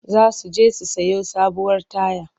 Za su je su sayo sabuwar taya.